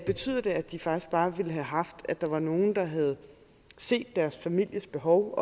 betyder det at de faktisk bare ville have haft at der var nogen der havde set deres families behov